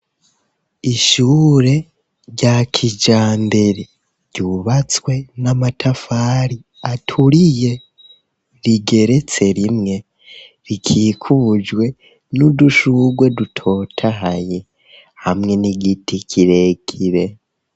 Ishure rya kijambere, ryubatswe n'amatafari aturiye, rigeretse rimwe, rikikujwe n'udushurwe dutotahaye, hamwe n'igiti kirekire.